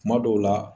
Kuma dɔw la